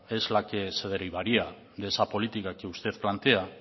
es la que se derivaría de esa política que usted plantea